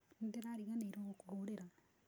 Nĩndĩrariganĩirwo gũkũhũrĩra